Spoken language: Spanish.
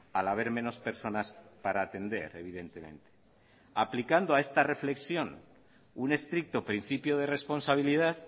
al haber menos personas para atender evidentemente aplicando a esta reflexión un estricto principio de responsabilidad